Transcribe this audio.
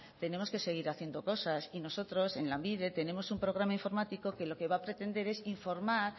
tenemos que seguir haciendo cosas nosotros en lanbide tenemos un programa informático que lo que va a pretender es informar